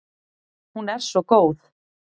Hún er svo góð.